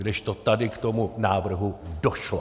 Kdežto tady k tomu návrhu došlo.